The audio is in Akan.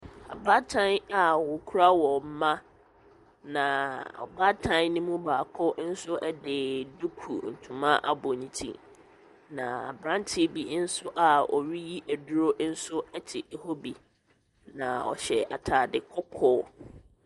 Abaatan a wɔkura wɔn mba na ɔbaatan ne mu baako nso de duku ntoma abɔ ne ti. Na aberanteɛ bi nso a ɔreyi aduro nso te hɔ bi, na ɔhyɛ ataade kɔkɔɔ.